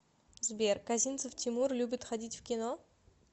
сбер козинцев тимур любит ходить в кино